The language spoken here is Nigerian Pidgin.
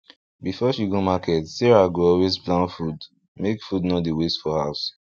before she go market sarah go always plan food make food no dey waste for house